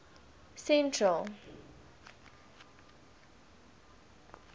central